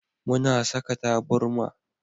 Muna saka taburma.